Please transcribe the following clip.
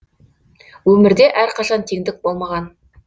өмірде әр қашан теңдік болмаған